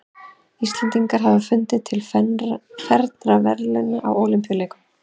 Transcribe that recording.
Íslendingar hafa unnið til fernra verðlauna á Ólympíuleikum.